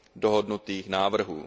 dohodnutých návrhů.